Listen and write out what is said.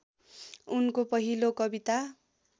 उनको पहिलो कविता